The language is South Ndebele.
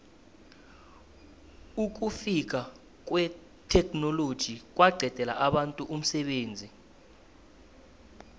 ukufika kwetheknoloji kwaqedela abantu umsebenzi